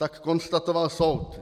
Tak konstatoval soud.